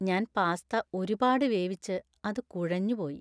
ഞാൻ പാസ്ത ഒരുപാട് വേവിച്ച് അത് കുഴഞ്ഞു പോയി.